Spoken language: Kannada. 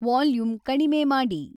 ವಾಲ್ಯೂಮ್ ಕಡಿಮೆ ಮಾಡಿ